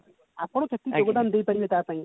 ଆପଣ କେଟିକି ଯୋଗଦାନ ଦେଇ ପାରିବେ ତା ପାଇଁ